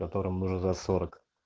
которым уже за сорок